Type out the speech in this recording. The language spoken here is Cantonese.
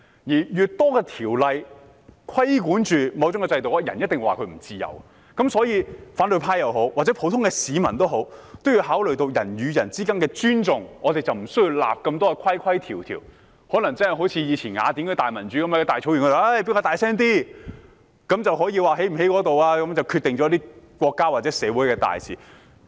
越多條例對某種制度作出規管時，總有人覺得不自由，所以，反對派也好，普通市民也好，均要考慮人與人之間的尊重，這樣便無需訂立太多規條，更可能可以好像以前雅典的民主樣式，在大草原上誰說得大聲一點便可決定國家或社會大事。